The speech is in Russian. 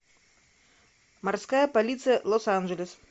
морская полиция лос анжелес